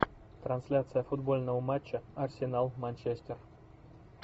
трансляция футбольного матча арсенал манчестер